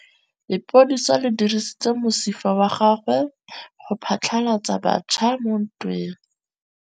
Lepodisa le dirisitse mosifa wa gagwe go phatlalatsa batšha mo ntweng.